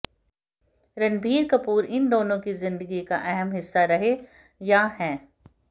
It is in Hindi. रणबीर कपूर इन दोनों की ही जिंदगी का अहम हिस्सा रहे या हैं